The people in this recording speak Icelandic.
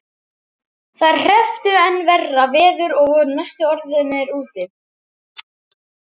Þeir hrepptu enn verra veður og voru næstum orðnir úti.